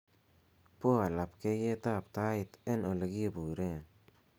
poa labkeiyet ab tait en olekiburen